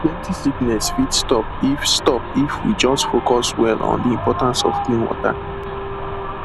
plenty sickness fit stop if stop if we just focus well on the importance of clean water